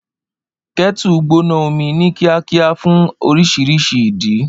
Kettle gbóná omi ní kíákíá fún oríṣiríṣi ìdí.